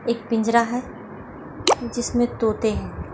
एक पिंजरा है| जिसमे तोते है।